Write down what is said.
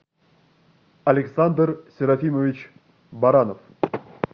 александр серафимович баранов